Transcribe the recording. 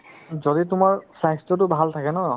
যদি তোমাৰ স্বাস্থ্যতো ভাল থাকে ন